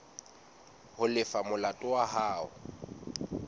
ho lefa molato wa hao